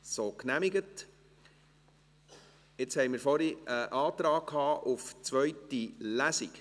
Wir hatten vorhin einen Antrag auf eine zweite Lesung.